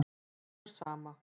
Honum er sama.